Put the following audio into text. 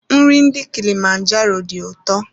Nri ndị kilimanjaro dị ụtọ.